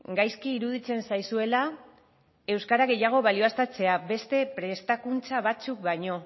gaizki iruditzen zaizuela euskara gehiago balioztatzea beste prestakuntza batzuk baino